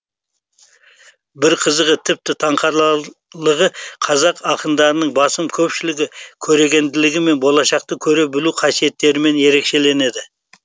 бір қызығы тіпті таңқарлығы қазақ ақындарының басым көпшілігі көрегенділігі мен болашақты көре білу қасиеттерімен ерекшеленеді